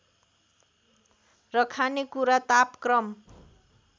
र खानेकुरा तापक्रम